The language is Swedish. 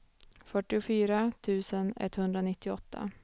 fyrtiofyra tusen etthundranittioåtta